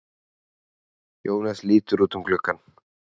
Jónas lítur út um gluggann.